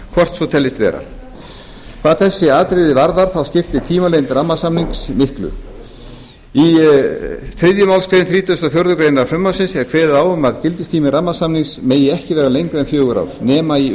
hvort svo teljist vera hvað þessi atriði varðar þá skiptir tímalengd rammasamnings miklu í þriðju málsgrein þrítugustu og fjórðu grein frumvarpsins er kveðið á um að gildistími rammasamnings megi ekki vera lengri en fjögur ár nema í